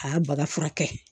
A y'a baga furakɛ